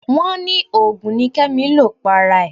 Wọ́n ní òògùn ni Kẹ́mi lò para rẹ̀